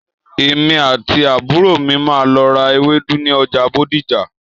Èmi àti àbúrò mi máà lọ ra ewedu ni ọja Bódìjà.